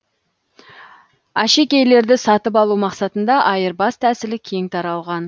әшекейлерді сатып алу мақсатында айырбас тәсілі кең таралған